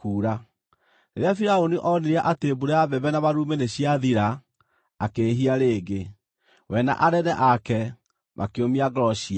Rĩrĩa Firaũni onire atĩ mbura ya mbembe na marurumĩ nĩciathira akĩĩhia rĩngĩ; we na anene ake makĩũmia ngoro ciao.